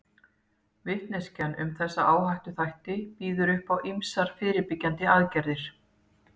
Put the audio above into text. Vitneskjan um þessa áhættuþætti býður upp á ýmsar fyrirbyggjandi aðgerðir.